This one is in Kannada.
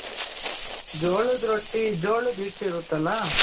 ಜೋಳದ ರೊಟ್ಟಿ ಜೋಳದ ಹಿಟ್ಟು ಇರುತ್ತಲ